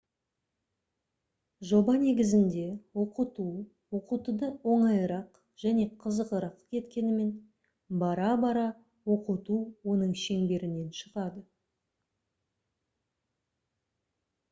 жоба негізінде оқыту оқытуды оңайырақ және қызығырақ еткенімен бара-бара оқыту оның шеңберінен шығады